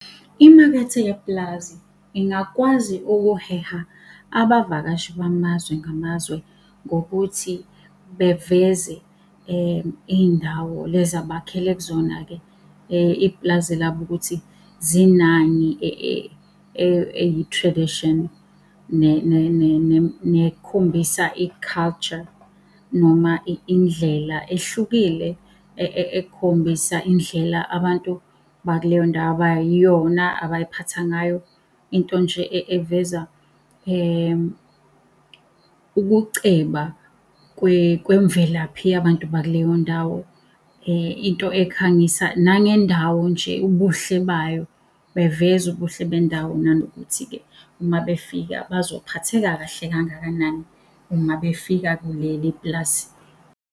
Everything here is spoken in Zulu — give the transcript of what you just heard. Imakethe yepulazi ingakwazi ukuheha abavakashi bamazwe ngamazwe ngokuthi beveze iy'ndawo lezi abakhele kuzona-ke ipulazi labo ukuthi zinani eyi-tradition, nekhombisa i-culture, noma indlela ehlukile. Ekhombisa indlela abantu bakuleyo ndawo abayiyona abay'phatha ngayo, into nje eveza ukuceba kwemvelaphi yabantu bakuleyo ndawo. Into ekhangisa nangendawo nje ubuhle bayo, beveza ubuhle bendawo, nanokuthi-ke uma befika bazophatheka kahle kangakanani uma befika kuleli pulazi.